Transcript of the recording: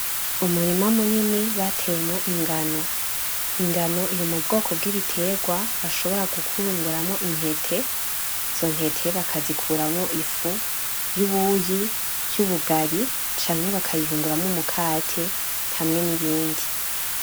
Umurima munini bateyemwo ingano. Ingano iri mu bwoko bw'ibitegwa bashobora gukurunguramo intete, izo ntete bakazikuramo ifu y'ubuyi, y'ubugari, canke bakayihunguramo umukate hamwe n'ibindi.